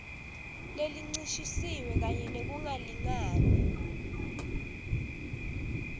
lencishisiwe kanye nekungalingani